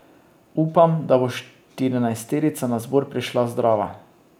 Upam, da bo štirinajsterica na zbor prišla zdrava.